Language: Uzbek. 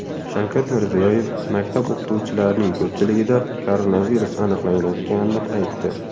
Shavkat Mirziyoyev maktab o‘qituvchilarining ko‘pchiligida koronavirus aniqlanayotganini aytdi.